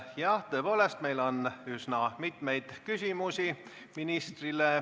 Jah, tõepoolest on ministrile üsna palju küsimusi.